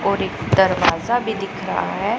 और एक दरवाजा भी दिख रहा है।